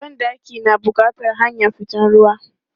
Ban ɗaki na bukatan hanyar fitan ruwa.